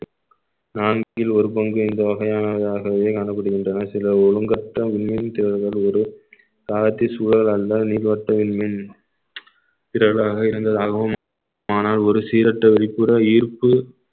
நான் இதில் ஒரு பங்கு இந்த வகையானதாகவே காணப்படுகின்றன சில ஒழுங்கற்ற உண்மையின் தேவைகள் ஒரு காலத்தில் சூழல் அல்ல நீள்வட்ட மின்மீன் திரள்களாக இருந்ததாகவும் ஆனால் ஒரு சீரற்ற வெளிப்புற ஈர்ப்பு